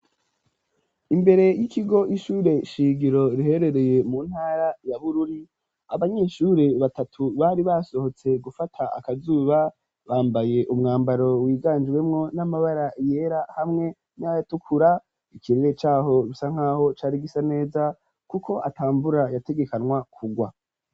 Imbere y'ikigo c'ishure shingiro riherereye mu ntara ya Bururi, abanyeshure batatu bari basohotse gufata akazuba bambaye umwambaro wiganjwemo n'amabara yera hamwe n'ayatukura, ikirere caho gisa nk'aho cari gisa neza, kuko atamvura yategekanwa kugwa.